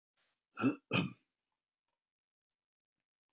Að geta fyrirgefið er vissulega ein besta gjöf sem til er.